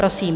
Prosím.